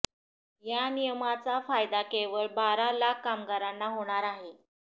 या नियमाचा फायदा केवळ बारा लाख कामगारांना होणार आहे